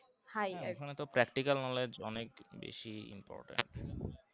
হ্যাঁ ওখানে তো practical knowledge অনেক বেশি important